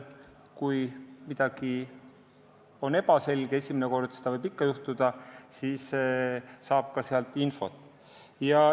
Kui midagi jääb ebaselgeks – esimene kord võib seda ikka juhtuda –, siis saab ka sealt infot.